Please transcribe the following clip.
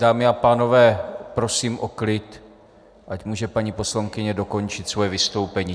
Dámy a pánové, prosím o klid, ať může paní poslankyně dokončit svoje vystoupení.